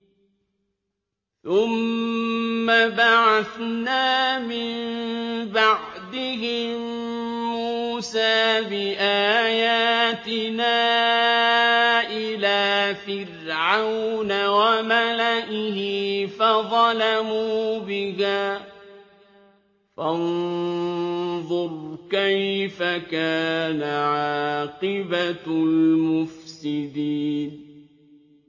ثُمَّ بَعَثْنَا مِن بَعْدِهِم مُّوسَىٰ بِآيَاتِنَا إِلَىٰ فِرْعَوْنَ وَمَلَئِهِ فَظَلَمُوا بِهَا ۖ فَانظُرْ كَيْفَ كَانَ عَاقِبَةُ الْمُفْسِدِينَ